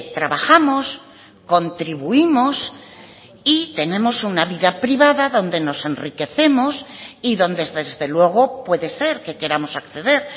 trabajamos contribuimos y tenemos una vida privada donde nos enriquecemos y donde desde luego puede ser que queramos acceder